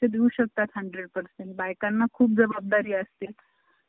त्यामुळंच म्हणतोय अजून दोन तीन franchise गेल्या ना तुमच्या सात आठ दहा दहा बारा franchise झाले ना तुमचं नाव होईल.